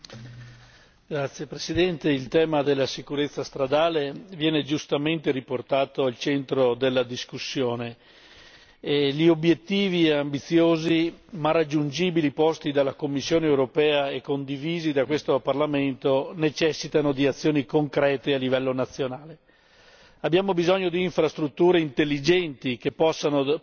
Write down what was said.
Signor Presidente, onorevoli colleghi, il tema della sicurezza stradale viene giustamente riportato al centro della discussione e gli obiettivi ambiziosi ma raggiungibili posti dalla Commissione europea e condivisi da questo Parlamento necessitano di azioni concrete a livello nazionale. Abbiamo bisogno di infrastrutture intelligenti che